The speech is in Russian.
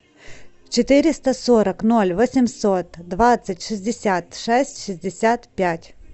четыреста сорок ноль восемьсот двадцать шестьдесят шесть шестьдесят пять